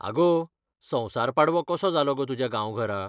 आगो, संवसार पाडवो कसो जालो गो तुज्या गांवघरा?